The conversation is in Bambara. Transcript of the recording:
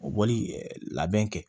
Bɔli labɛn kɛ